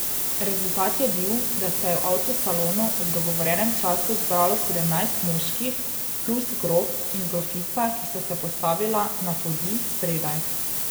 Rezultat je bil, da se je v avtosalonu ob dogovorjenem času zbralo sedemnajst moških, plus grof in grofica, ki sta se postavila na podij spredaj.